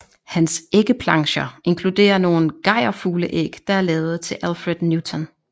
Hans æggeplancher inkluderer nogle gejrfugleæg der er lavet til Alfred Newton